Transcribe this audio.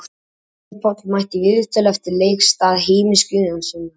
Ólafur Páll mætti í viðtöl eftir leik í stað Heimis Guðjónssonar.